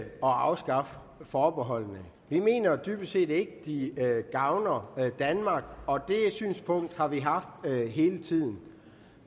afskaffe forbeholdene vi mener dybest set ikke at de gavner danmark og det synspunkt har vi haft hele tiden